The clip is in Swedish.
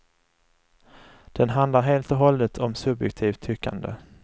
Den handlar helt och hållet om subjektivt tyckande.